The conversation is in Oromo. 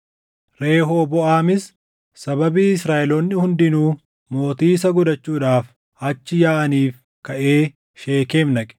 Rehooboʼaamis sababii Israaʼeloonni hundinuu mootii isa gochuudhaaf achi yaaʼaniif kaʼee Sheekem dhaqe.